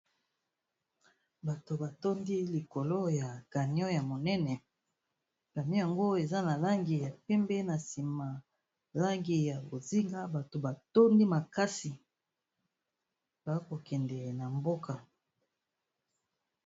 Bato ba tondi likolo ya camion ya monene. Camion yango eza na langi ya pembe, na nsima langi ya bozinga, bato ba tondi makasi ba kokende na mboka.